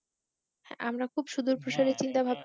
আমরা খুব সুদূর প্রসারী চিন্তাভাব